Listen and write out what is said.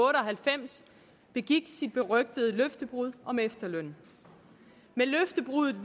halvfems begik sit berygtede løftebrud om efterlønnen med løftebruddet